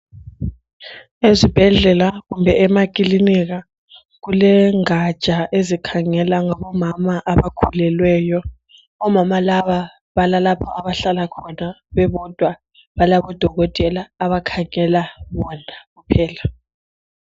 Esibhedlela kumbe emakilinika kulengatsha ezikhangela ngabomama abakhulelweyo, omama laba balalapha abahlala khona bebodwa balabodokotela abakhangela bona kuphela.